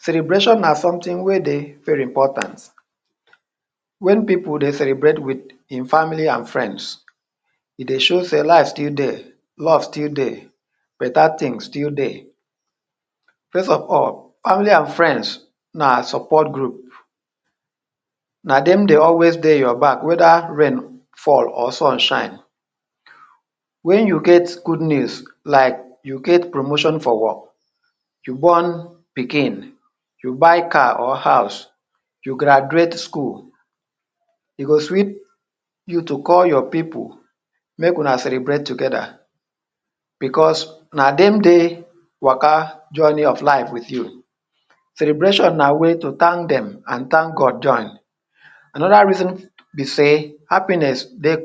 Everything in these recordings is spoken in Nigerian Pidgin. Celebration na something wey dey very important. Wen pipu dey celebrate with ein family an friends, e dey show sey life still dey, love still dey, beta tins still dey. First of all, family an friends na support group. Na dem dey always dey your back whether rain fall or sun shine. Wen you get good news like you get promotion for work, you born pikin, you buy car or house, you graduate school, e go sweet you to call your pipu make una celebrate together becos na dem dey waka journey of life with you. Celebration na way to thank dem an thank God join. Another reason be sey happiness dey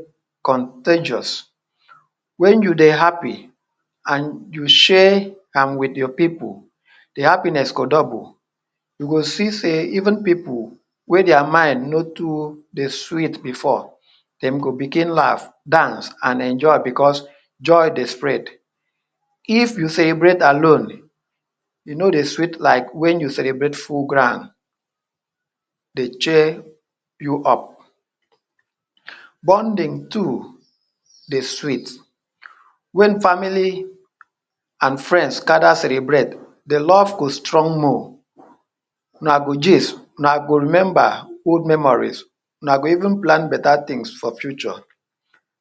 contagious. Wen you dey happy an you share am with your pipu, the happiness go double. You go see sey even pipu wey dia mind no too dey sweet before, dem go begin laugh, dance, an enjoy becos joy dey spread. If you celebrate alone, e no dey sweet like wen you celebrate full ground dey cheer you up. Bonding too dey sweet. Wen family an friends gather celebrate, the love go strong more. Una go gist, una go remember old memories, una go even plan beta tins for future.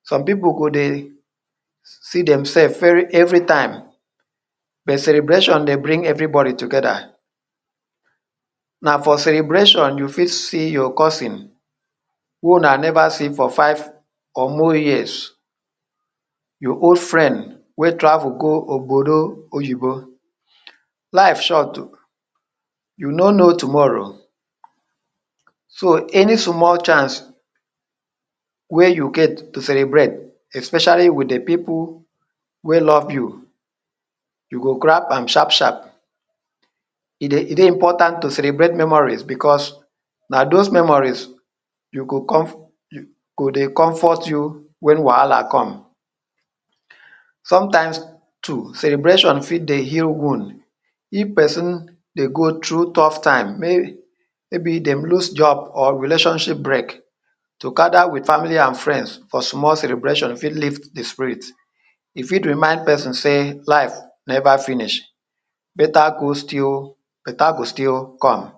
Some pipu go dey see demsef very every time, but celebration dey bring everybody together. Na for celebration you fit see your cousin who una never see for five or more years, your old friend wey travel go obodo oyinbo. Life short. You no know tomorrow. So, any small chance wey you get to celebrate especially with the pipu wey love you, you go grab am sharp-sharp. E dey e dey important to celebrate memories becos na dos memories you go go dey comfort you wen wahala come. Sometimes too, celebration fit dey heal wound. If peson dey go through tough time, maybe dem lose job or relationship break, to gather with family an friends for small celebration fit lift the spirit. E fit remind peson sey life neva finish. Beta go still beta go still come.